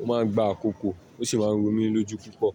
ó máa ń gba àkókò ó sì máa ń ro mí lójú púpọ̀